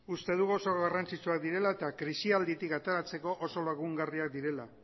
uste dugu oso garrantzitsuak direla eta krisialditik ateratzeko oso lagungarriak direla